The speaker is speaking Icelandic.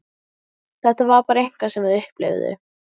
Þetta var bara eitthvað sem þau upplifðu.